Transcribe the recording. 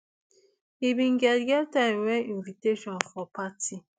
e bin get get time wen invitation for party